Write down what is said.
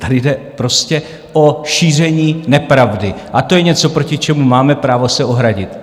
Tady jde prostě o šíření nepravdy a to je něco, proti čemu máme právo se ohradit.